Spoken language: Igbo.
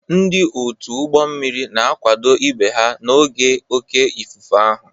Ndị otu ụgbọ mmiri na-akwado ibe ha n'oge oké ifufe ahụ.